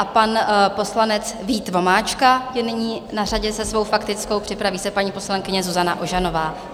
A pan poslanec Vít Vomáčka je nyní na řadě se svou faktickou, připraví se paní poslankyně Zuzana Ožanová.